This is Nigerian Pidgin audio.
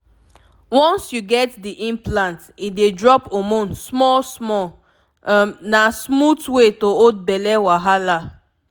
once you get the implant e dey drop hormone small-small — um na smooth way to hold belle wahala.